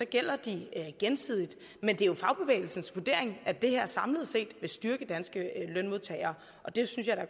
gælder de gensidigt men det er jo fagbevægelsens vurdering at det her samlet set vil styrke danske lønmodtagere og det synes jeg der